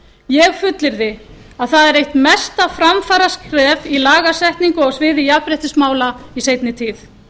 ég fullyrði að það er eitt mesta framfaraskref í lagasetningu á sviði jafnréttismála í seinni tíð